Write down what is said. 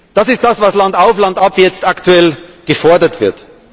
Das ist das, was landauf, landab jetzt aktuell gefordert wird.